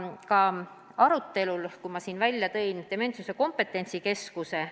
Ma viitasin siin enne Dementsuse Kompetentsikeskusele.